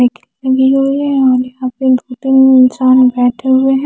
लगी हुई है और यहां पे दो तीन इंसान बैठे हुए हैं।